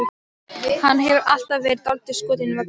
Hann hefur alltaf verið dálítið skotinn í Möggu.